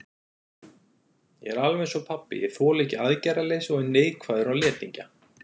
Ég er alveg einsog pabbi, ég þoli ekki aðgerðaleysi og er neikvæður á letingja.